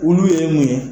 Olu ye mun ye